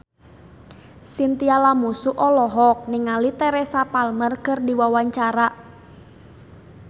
Chintya Lamusu olohok ningali Teresa Palmer keur diwawancara